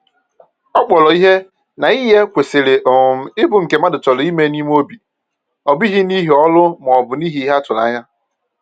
Ọ kpọrọ ihe na inye kwesịrị um ịbụ nke mmadụ chọrọ ime n’obi, ọ bụghị n’ihi ọrụ ma ọ bụ n’ihi ihe a tụrụ anya.